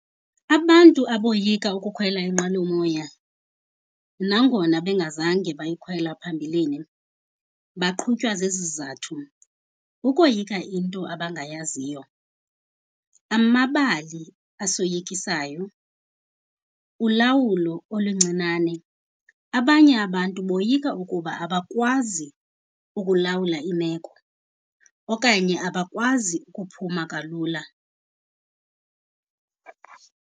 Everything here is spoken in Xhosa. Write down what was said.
Abantu aboyika ukukhwela inqwelomoya nangona bengazange bayikhwela phambilini, baqhutywa zezi zizathu. Ukoyika into abangayaziyo, amabali asoyikisayo, ulawulo oluncinane. Abanye abantu boyika ukuba abakwazi ukulawula imeko okanye abakwazi ukuphuma kalula.